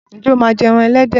Ǹjẹ́ o máa ń jẹ ẹran ẹlẹ́dẹ̀?